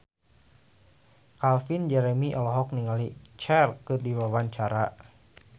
Calvin Jeremy olohok ningali Cher keur diwawancara